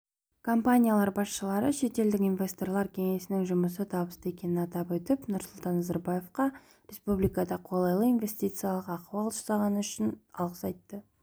компаниялар басшылары шетелдік инвесторлар кеңесінің жұмысы табысты екенін атап өтіп нұрсұлтан назарбаевқа республикада қолайлы инвестициялық ахуал жасағаны үшін алғыс айтты